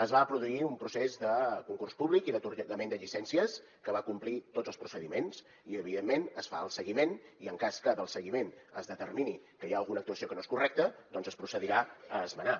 es va produir un procés de concurs públic i d’atorgament de llicències que va complir tots els procediments i evidentment es fa el seguiment i en cas que del seguiment es determini que hi ha alguna actuació que no és correcta doncs es procedirà a esmenar